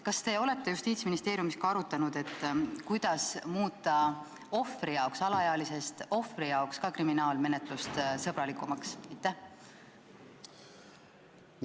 Kas te olete Justiitsministeeriumis arutanud, kuidas muuta alaealisest ohvri jaoks kriminaalmenetlus sõbralikumaks?